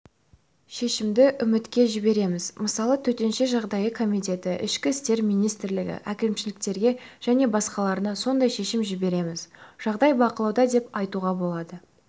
шешімді үкіметке жібереміз мысалы төтенше жағдай комитеті ішкі істер министрлігі әкімшіліктерге және басқаларына сондай шешім жібереміз жағдай бақылауда деп айтуға болады